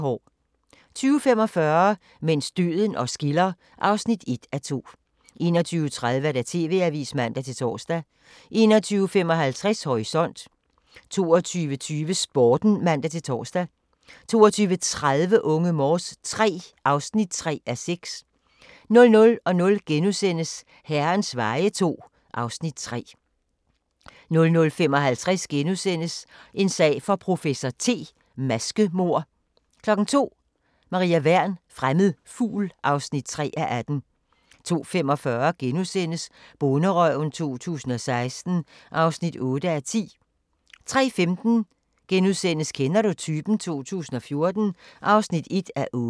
20:45: Mens døden os skiller (1:2) 21:30: TV-avisen (man-tor) 21:55: Horisont 22:20: Sporten (man-tor) 22:30: Unge Morse III (3:6) 00:00: Herrens veje II (Afs. 3)* 00:55: En sag for professor T: Maskemord * 02:00: Maria Wern: Fremmed fugl (3:18) 02:45: Bonderøven 2016 (8:10)* 03:15: Kender du typen? 2014 (1:8)*